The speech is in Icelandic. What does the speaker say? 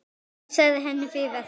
Enginn sagði henni fyrir verkum.